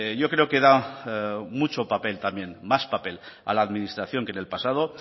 yo creo que da mucho papel también más papel a la administración que en el pasado